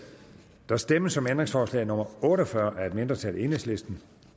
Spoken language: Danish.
der stemmes om ændringsforslag nummer otte og fyrre af et mindretal